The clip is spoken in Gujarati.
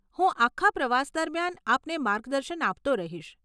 હું આખા પ્રવાસ દરમિયાન આપને માર્ગદર્શન આપતો રહીશ.